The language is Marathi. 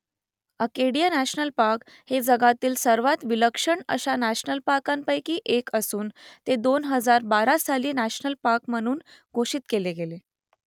अकेडिया नॅशनल पार्क हे जगातील सर्वात विलक्षण अशा नॅशनल पार्कांपैकी एक असून ते दोन हजार बारा साली नॅशनल पार्क म्हणून घोषित केले गेले